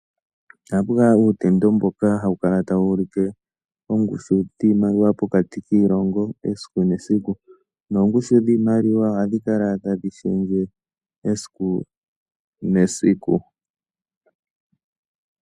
Ohapu kala uutendo mboka hawu kala tawu ulike oongushu dhiimaliwa pokati kiilongo esiku nesiku. Noongushu dhiimaliwa ohadhi kala tadhi shendje esiku nesiku.